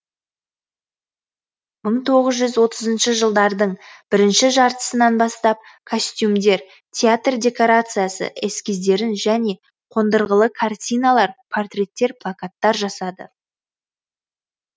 мың тоғызыншы отызыншы жылдардың бірінші жартысынан бастап костюмдер театр декорациясы эскиздерін және қондырғылы картиналар портреттер плакаттар жасады